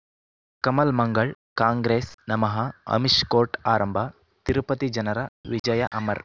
ಕಮಲ್ ಮಂಗಳ್ ಕಾಂಗ್ರೆಸ್ ನಮಃ ಅಮಿಷ್ ಕೋರ್ಟ್ ಆರಂಭ ತಿರುಪತಿ ಜನರ ವಿಜಯ ಅಮರ್